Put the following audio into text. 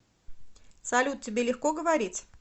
салют тебе легко говорить